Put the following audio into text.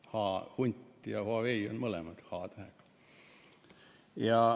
Hunt ja Huawei on mõlemad h-tähega.